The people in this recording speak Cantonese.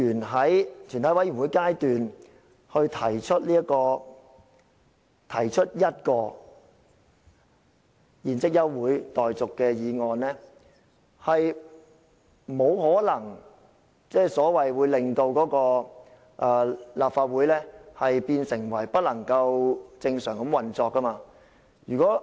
這是一個原則問題，我認為議員在全體委員會審議階段提出一項現即休會待續的議案，是不可能令立法會不能正常地運作。